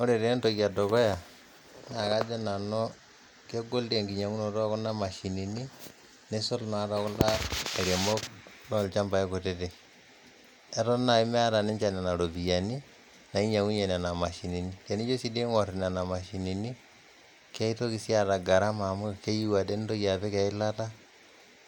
Ore taa entoki edukuya naa kajo nanu kegol dei enkinyang'unoto ookuna mashinini neisul naa too kunda lairemok loo ilchambai kutitik. Eton naii emeeta ninche nenia iropiyiani nainyeng'unye nenia mashinini, tenijo dei sii aing'orr nenia mashinini keitoki sii aata gharama amu keyeu ade nintoki apik ilata